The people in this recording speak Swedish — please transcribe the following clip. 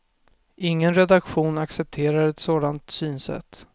Ingen redaktion accepterar ett sådant synsätt.